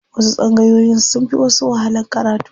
Wasu tsangayoyin sun fi wasu wahalan karatu.